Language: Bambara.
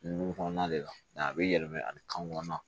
Dugu kɔnɔna de la a bɛ yɛlɛma ani kan kɔnɔna